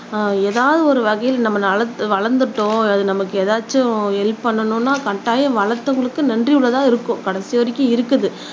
எதாவது ஒரு வகையில நம்ம நட வளந்துட்டோம் அது நமக்கு ஏதாச்சும் ஹெல்ப் பண்ணணும்னா கட்டாயம் வளர்த்தவங்களுக்கு நன்றி உள்ளதா இருக்கும் கடைசி வரைக்கும் இருக்குது